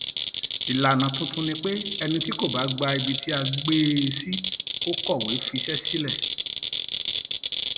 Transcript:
ìlànà tuntun ni pé ẹni tí kò bá gba um ibi tá a gbé um e sí kò kọwé fiṣẹ sílẹ